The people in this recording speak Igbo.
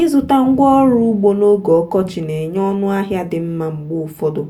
ịzụta ngwaọrụ ugbo n'oge ọkọchị na-enye ọnụ ahịa dị mma mgbe ụfọdụ